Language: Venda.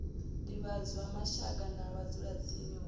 divhadzwa mashaka na vhadzulatsini hu